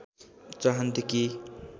चाहन्थे कि